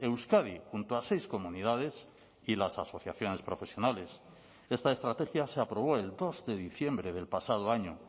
euskadi junto a seis comunidades y las asociaciones profesionales esta estrategia se aprobó el dos de diciembre del pasado año